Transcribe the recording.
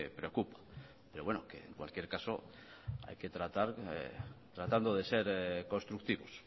preocupa pero bueno en cualquier caso tratando de ser constructivos